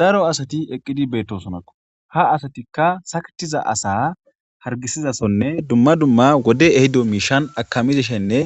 Daro asati eqqidi betosonakko.haa asatikka saketiza asa hariggisizasonne dumma dumma wodeyi ehiddo mishshanni akamishshenne